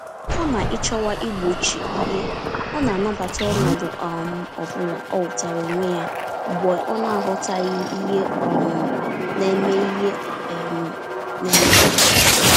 Kama ịchọwa igbochi ìhè, ọna anabata ọnọdụ um ọbula ọhụtara onwe ya mgbe ọnaghọtaghị ihe um neme ihe um neme ya.